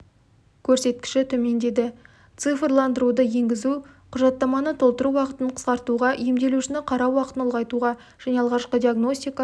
көрсеткіші төмендеді цифрландыруды енгізу құжаттаманы толтыру уақытын қысқартуға емделушіні қарау уақытын ұлғайтуға және алғашқы диагностика